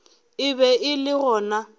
e be e le gona